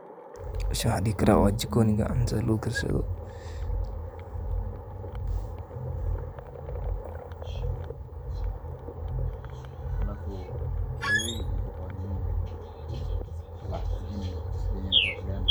Meeshan waxaan dihi karaa waa jikoniga cuntada lagu karsado.